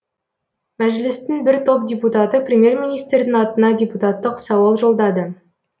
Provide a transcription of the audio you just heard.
мәжілістің бір топ депутаты премьер министрдің атына депутаттық сауал жолдады